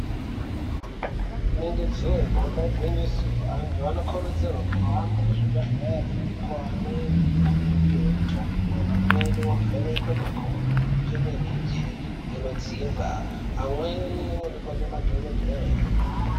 Inenge jee damba igwinyiso antu ano kurudzirwe kuhambe ku zvibhedhleri mukowo imweni anono pihwe mitombo amweni ovhenekwe makodo nge mirenje inodzimba amweni onekwe nema dhokodheye.